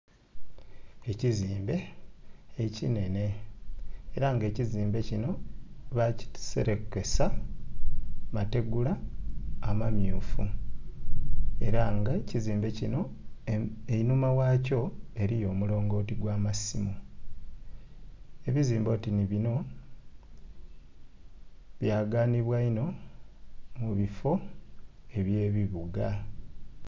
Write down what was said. Ekizimbe ekinhenhe era nga ekizimbe kino bakiserekesa mategula amammyufu era nga ekizimbe kino einhuma ghakyo eriyo omulongoti ogw'amasimu, ebizimbe oti ni bino byaganibwa inho mubifo ebye bibuga.